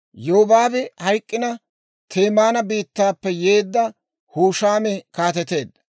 Yobaabi hayk'k'ina, Temaana biittaappe yeedda Hushaami kaateteedda.